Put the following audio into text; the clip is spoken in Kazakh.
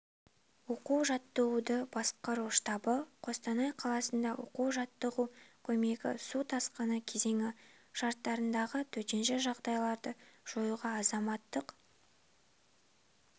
оқу-жаттығуды басқару штабы қостанай қаласында оқу-жаттығу көктемгі су тасқыны кезеңі шарттарындағы төтенше жағдайларды жоюға азаматтық